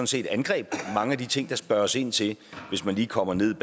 set angreb mange af de ting der spørges ind til hvis man lige kommer ned